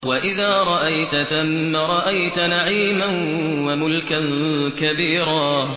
وَإِذَا رَأَيْتَ ثَمَّ رَأَيْتَ نَعِيمًا وَمُلْكًا كَبِيرًا